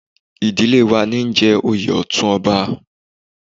Ìdílé wa níí jẹ oyè Ọ̀tún ọba